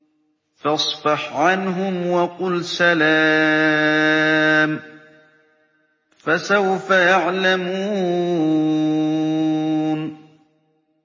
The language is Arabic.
فَاصْفَحْ عَنْهُمْ وَقُلْ سَلَامٌ ۚ فَسَوْفَ يَعْلَمُونَ